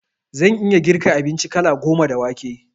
Na iya girka abinci kala goma da wake